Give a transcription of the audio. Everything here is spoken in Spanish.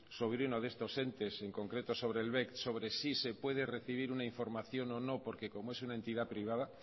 sobre uno de estos entes en concreto sobre el bec sobre si se puede recibir una información o no porque como es una entidad privada